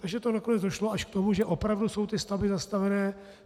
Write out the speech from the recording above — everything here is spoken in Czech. Takže to nakonec došlo až k tomu, že opravdu jsou ty stavby zastavené.